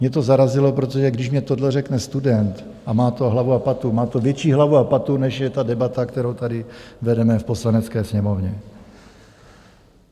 Mě to zarazilo, protože když mi tohle řekne student a má to hlavu a patu, má to větší hlavu a patu, než je ta debata, kterou tady vedeme v Poslanecké sněmovně.